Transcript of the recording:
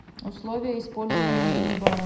условия использования мини бара